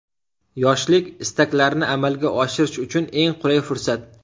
Yoshlik istaklarni amalga oshirish uchun eng qulay fursat.